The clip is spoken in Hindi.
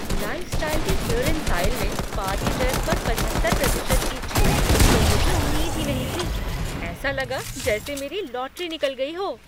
लाइफ़़स्टाइल के क्लीयरेंस आईल में पार्टी ड्रेस पर पचहत्तर प्रतिशत की छूट की तो मुझे उम्मीद ही नहीं थी। ऐसा लगा जैसे मेरी लॉटरी निकल गई हो!